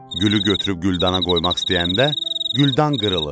Gülü götürüb güldana qoymaq istəyəndə, güldan qırılır.